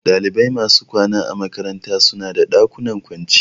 Dalibai masu kwana a makaranta suna da ɗakunan kwanciya